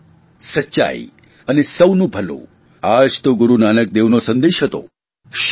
સેવા સચ્ચાઇ અને સૌનું ભલું આ જ તો ગુરૂ નાનક દેવનો સંદેશ હતો